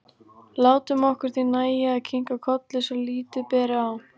Látum okkur því nægja að kinka kolli svo lítið beri á.